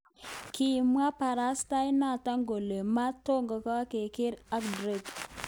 Kimwo kabarastaenoto kole: "Mato gargeiyo ak Drake".